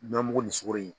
Nɔnɔ mugu ni sukoro ye